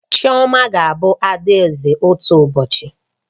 Chioma ga-abụ adaeze otu ụbọchị